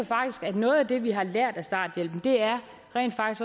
noget af det vi har lært af starthjælpen er